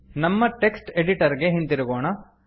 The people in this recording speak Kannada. ನಮ್ಮ ಟೆಕ್ಸ್ಟ್ ಎಡಿಟರ್ ಗೆ ಹಿಂತಿರುಗೋಣ